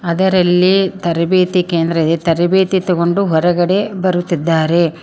ಅದರಲ್ಲಿ ತರಬೇತಿ ಕೇಂದ್ರ ಇದೆ ತರಬೇತಿ ತಗೊಂಡು ಹೊರಗಡೆ ಬರುತ್ತಿದ್ದಾರೆ.